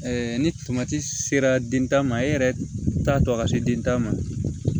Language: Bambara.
ni tomati sera den ta ma e yɛrɛ t'a dɔn a ka se denta ma